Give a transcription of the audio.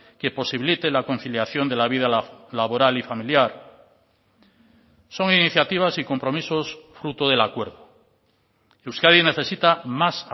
que posibilite la conciliación de la vida laboral y familiar son iniciativas y compromisos fruto del acuerdo euskadi necesita más